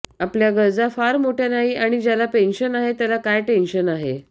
आपल्या गरजा फार मोठ्या नाही आणि ज्याला पेन्शन आहे त्याला काय टेंशन आहे